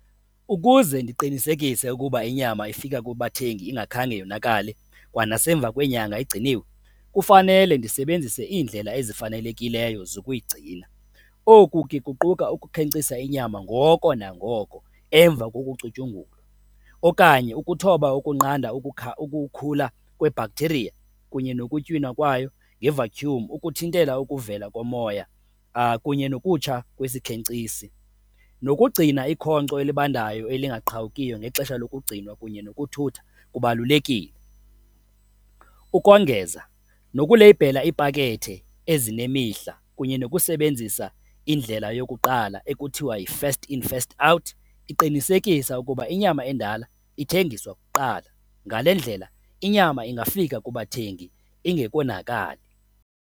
Ukuze ndiqinisekise ukuba inyama ifika kubathengi ingakhange yonakale kwanasemva kweenyanga igciniwe, kufanele ndisebenzise iindlela ezifanelekileyo zokuyigcina. Oku ke kuquka ukukhenkcisa inyama ngoko nangoko emva kokucutyungulwa okanye ukuthoba ukunqanda ukukhula kwebhaktheriya kunye nokutywina kwayo ngevatyhumi, ukuthintela ukuvela komoya, kunye nokutsha kwesikhenkcisi, nokugcina ikhonco elibandayo elingaqhawukiyo ngexesha lokugcinwa kunye nokuthutha kubalulekile. Ukongeza nokuleyibhela iipakethe ezinemihla kunye nokusebenzisa indlela yokuqala ekuthiwa yi-first in first out, iqinisekisa ukuba inyama endala ithengiswa kuqala. Ngale ndlela inyama ingafika kubathengi ingekonakali.